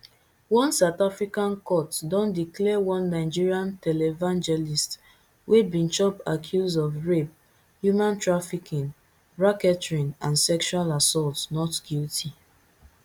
one south african court don declare one nigerian televangelist wey bin chop accuse of rape human trafficking racketeering and sexual assault not guilty